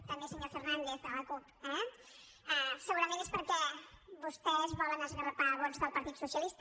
també senyor fernàndez de la cup eh segurament és perquè vostès volen esgarrapar vots del partit socialista